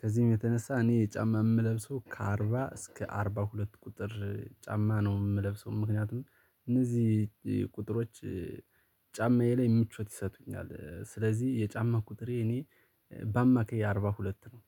ከዚህም የተነሳ እኔ ጫማ የምለብሰው ከአርባ እስከ አርባ ሁለት ቁጥር ጫማ ነው የምለብሰው። ምክንያቱም እነዚህ ቁጥሮች ጫማዬ ላይ ምቾት ይሰጡኛል። ስለዚህ የጫማ ቁጥሬ እኔ በአማካይ አርባ ሁለት ነው